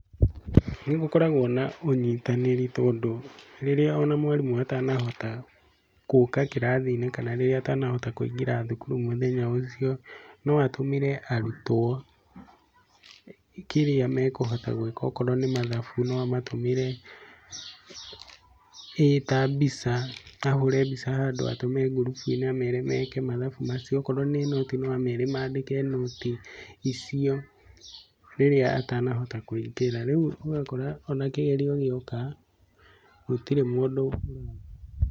Nĩ gũkoragwo na ũnyitanĩri tondũ rĩrĩa ona mwarimũ atanahota gũka kĩrathi-inĩ, kana rĩrĩa atanahota kũingĩra thukuru mũthenya ũcio, no atũmire arutwo kĩrĩa mekũhota gwĩka akorwo nĩ mathabu no amatumĩre ĩta mbica, ahũre mbica handũ atũme ngurubu-inĩ amere meke mathabu macio. Okorwo nĩ nũti no amere mandĩke nũti icio, rĩrĩa atanahota kũingĩra. Rĩu ũgakora ona kĩgerio gĩoka gũtirĩ mũndũ ũkũremwo.